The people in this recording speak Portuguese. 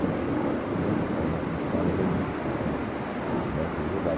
E né era uma sala belíssima de né que ele jogava.